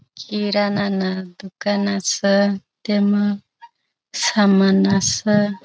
किराना न दुकान अस त्यामा सामान असं --